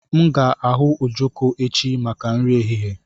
M ga-ahu ojoko echi maka nri ehihie